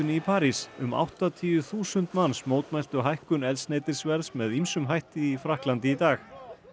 í París um áttatíu þúsund manns mótmæltu hækkun eldsneytisverðs með ýmsum hætti í Frakklandi í dag